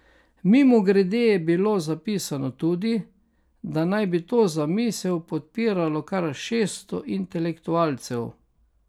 Mimogrede je bilo zapisano tudi, da naj bi to zamisel podpiralo kar šeststo intelektualcev.